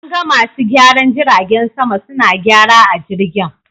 An ga masu gyaran jiragen sama suna gyara a jirgin.